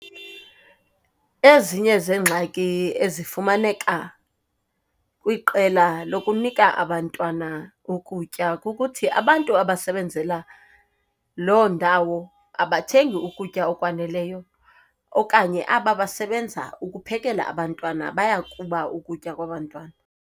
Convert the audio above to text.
Ezinye zeengxaki ezifumaneka kwiqela lokunika abantwana ukutya kukuthi, abantu abasebenzela loo ndawo abathengi ukutya okwaneleyo, okanye aba basebenza ukuphekela abantwana bayakuba ukutya kwabantwana.